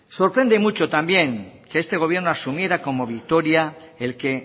sorprende mucho también que este gobierno asumiera como victoria el que